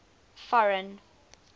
foreign